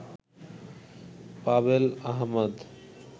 Pavel Ahmad